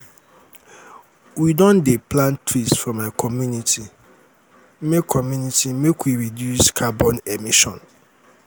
we don dey plant trees for my community make community make we reduce carbon emission.